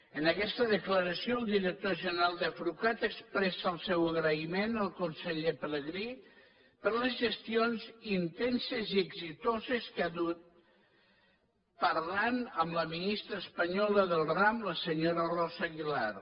en aguesta declaració el director general d’afrucat expressa el seu agraïment al conseller pelegrí per les gestions intenses i exitoses que ha dut parlant amb la ministra espanyola del ram la senyora rosa aguilar